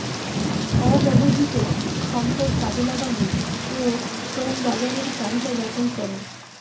অব্যবহৃত সম্পদ কাজে লাগানো ও শ্রমবাজারের চাহিদা যাচাই করা